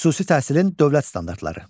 Xüsusi təhsilin dövlət standartları.